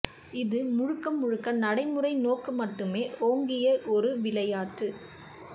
இது முழுக்கமுழுக்க நடைமுறை நோக்கு மட்டுமே ஓங்கிய ஒரு விளையாட்டு